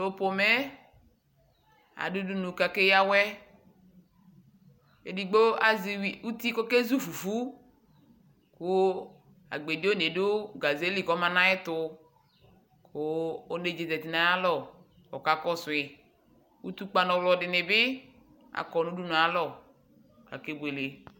tʊ udunu yɛ ke yǝ awɛ, edigbo azɛ uti kʊ okezu fufu, kʊ agbedi one yɛ ma nʊ awɛ li kʊ ɔlɛ nʊ ayʊ ɛtʊ, kʊ onedza zati nʊ ayʊ alɔ, kʊ okakɔsu yi, utukpǝ nʊ ɔwlɔ dɩnɩ bɩ, kɔ nʊ udunu yɛ ayʊ alɔ kʊ akebuele